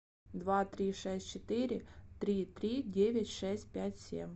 два три шесть четыре три три девять шесть пять семь